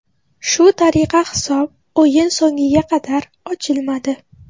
Shu tariqa hisob o‘yin so‘ngiga qadar ochilmadi.